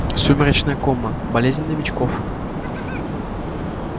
сумеречная кома болезнь новичков